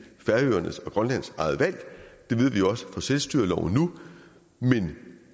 færøernes og grønlands eget valg og det ved vi jo også fra selvstyreloven nu men